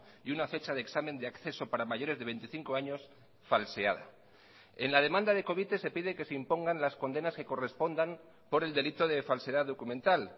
y una fecha de examen de acceso para mayores de veinticinco años falseada en la demanda de covite se pide que se impongan las condenas que correspondan por el delito de falsedad documental